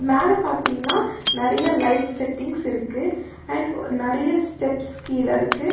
மேல பாத்தீங்கனா நெறைய லைட் செட்டிங்ஸ் இருக்கு அண்ட் ஒ அ நெறைய ஸ்டெப்ஸ் கீழ இருக்கு.